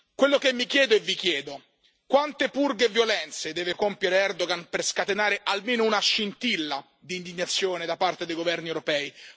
Quello che mi chiedo e vi chiedo quante purghe e violenze deve compiere Erdogan per scatenare almeno una scintilla d'indignazione da parte dei governi europei?